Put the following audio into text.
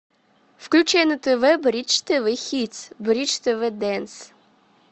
включи на тв бридж тв хитс бридж тв дэнс